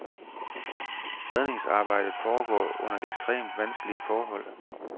Redningsarbejdet foregår under ekstremt vanskelige forhold.